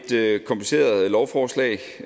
det er et kompliceret lovforslag og